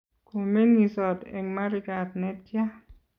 komeng'isot eng' marigat ne tya?